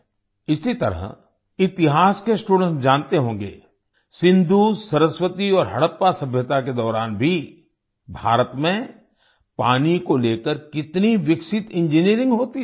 इसी तरह इतिहास के स्टूडेंट्स जानते होंगे सिन्धुसरस्वती और हडप्पा सभ्यता के दौरान भी भारत में पानी को लेकर कितनी विकसित इंजिनियरिंग होती थी